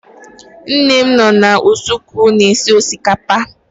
Nne m nọ na usekwu na-esi osikapa